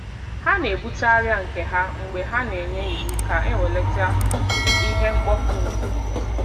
Ha na-ebute arịa nke ha mgbe ha na-enye iwu ka ewelata ihe mkpofu ngwugwu.